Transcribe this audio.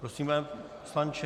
Prosím, pane poslanče.